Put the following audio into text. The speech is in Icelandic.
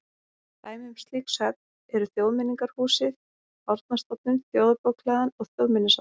Dæmi um slík söfn eru Þjóðmenningarhúsið, Árnastofnun, Þjóðarbókhlaðan og Þjóðminjasafnið.